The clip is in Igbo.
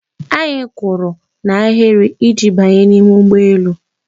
Anyị kwụrụ n'ahịrị iji banye n'ime ụgbọelu.